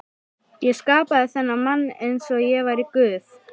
Ég skapaði þennan mann einsog ég væri guð.